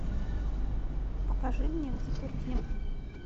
покажи мне взаперти